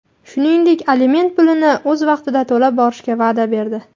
Shuningdek, aliment pulini o‘z vaqtida to‘lab borishga va’da berdi.